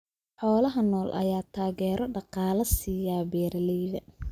Xoolaha nool ayaa taageero dhaqaale siiya beeralayda.